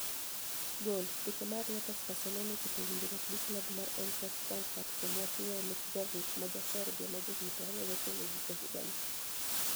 (Goal) Picha mar Reuters Barcelonia ochopo winijruok gi klabu mar Einitracht Franikfurt kuom wach nig'iewo Luka Jovic, ma ja Serbia ma jahiginii 21, e giko higanii.